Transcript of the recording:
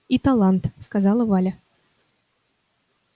и талант сказала валя